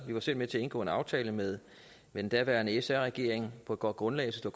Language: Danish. vi var selv med til at indgå en aftale med den daværende sr regering på et godt grundlag efter